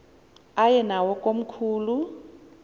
aye nawo komkhulu